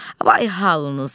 Vay halınıza!